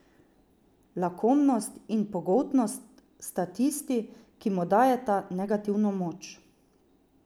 Lakomnost in pogoltnost sta tisti, ki mu dajeta negativno moč.